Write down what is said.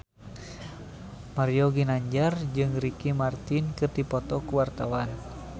Mario Ginanjar jeung Ricky Martin keur dipoto ku wartawan